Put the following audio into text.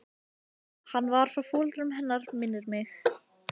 Hún var frá foreldrum hennar minnir mig.